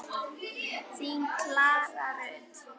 Þín Klara Rut.